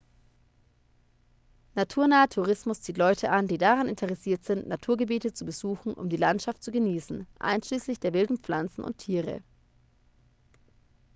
naturnaher tourismus zieht leute an die daran interessiert sind naturgebiete zu besuchen um die landschaft zu genießen einschließlich der wilden pflanzen und tiere